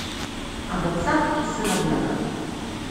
об отцах и сыновьях